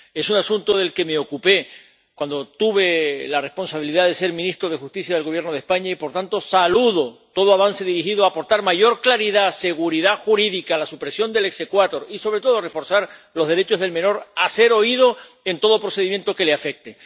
Es un asunto del que me ocupé cuando tuve la responsabilidad de ser ministro de Justicia del Gobierno de España y, por tanto, saludo todo avance dirigido a aportar mayor claridad, seguridad jurídica, la supresión del exequatur y, sobre todo, a reforzar los derechos del menor a ser oído en todo procedimiento que le afecte.